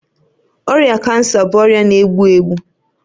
Ọrịa kansa bụ ọrịa na-egbu egbu